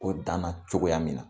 O danna cogoya min